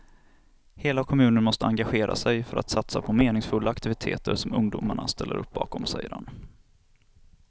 Hela kommunen måste engagera sig för att satsa på meningsfulla aktiviteter som ungdomarna ställer upp bakom, säger han.